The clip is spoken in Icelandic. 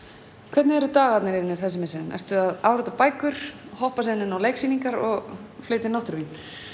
hvernig eru dagarnir þínir þessi misserin ertu að árita bækur hoppa síðan inn á leiksýningar og flytja inn náttúruvín